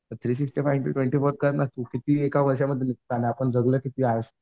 तर three sixty five into twenty four कर ना तू किती एका वर्षात आपण जगलो किती